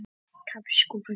Þetta er mikið þeirra líka.